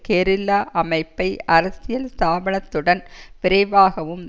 guerrilla அமைப்பை அரசியல் ஸ்தாபனத்துடன் விரைவாகவும்